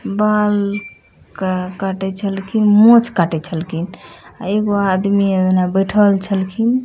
बाल का काटित हलखिन मोछ काटित हलखिन | अ एगो आदमी एने बैठल छल खिन |